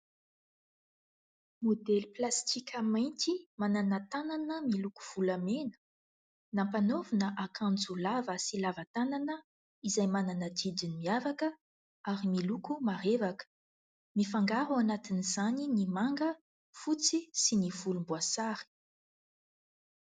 Modely plastika mainty manana tanana miloko volamena, nampanaovina akanjo lava sy lavatanana izay manana didiny miavaka ary miloko marevaka. Mifangaro ao anatin'izany ny manga, fotsy sy ny volomboasary.